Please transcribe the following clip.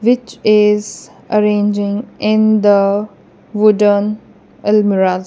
which is arranging in the wooden almirahs.